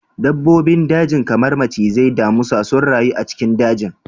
Dabbobin daji kamar macizai, damisa sun rayu a cikin dajin